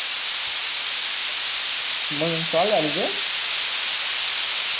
मंग solve झाल ते